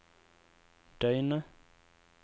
døgnet